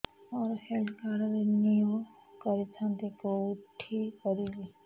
ମୋର health card renew କରିଥାନ୍ତି କୋଉଠି କରିବି